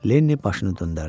Lenni başını döndərdi.